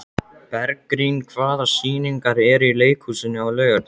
Bergrín, hvaða sýningar eru í leikhúsinu á laugardaginn?